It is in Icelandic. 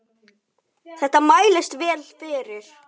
Þetta mælist vel fyrir.